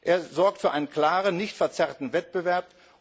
Er sorgt für einen klaren, nicht verzerrten Wettbewerb.